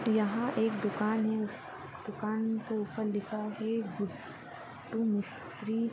यहाँ एक दुकान हैं उस दुकान के ऊपर लिखा हैं तुम स्त्री--